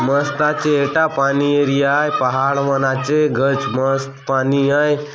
मस्त ए टा पानी एरिया आय पहाड़ मन आचे गच मस्त पानी आय।